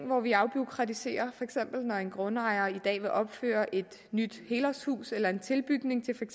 hvor vi afbureaukratiserer når en grundejer i dag vil opføre et nyt helårshus eller en tilbygning til